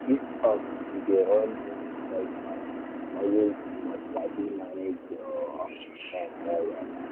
if um you dey run many side um hustles you must sabi manage your um time well-well.